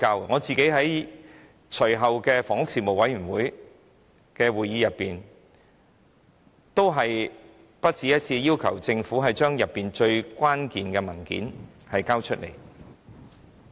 我個人在隨後的房屋事務委員會會議席上，也不只一次地要求政府交出事件當中最關鍵的文件。